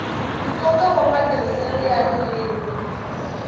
nkoka wa matirhiselo ya ririmi